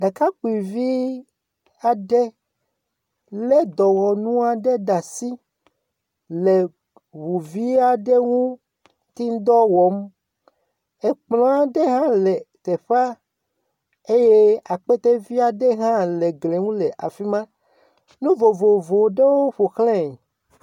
Ɖekakpuivi aɖe lé dɔwɔnu aɖe ɖe asi, le ŋu vi aɖe ŋuti dɔ wɔm, ekplɔ aɖe hã le teƒea eye akpetevi aɖe hã le teƒea, nu vovovowo hã ƒoxlae.